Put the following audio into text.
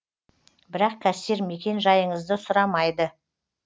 бірақ кассир мекен жайыңызды сұрамайды